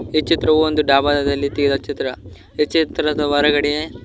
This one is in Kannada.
ಈ ಚಿತ್ರವು ಒಂದು ಡಾಬಾದಲ್ಲಿ ತೆಗೆದ ಚಿತ್ರ ಈ ಚಿತ್ರದ ಹೊರಗಡೆ.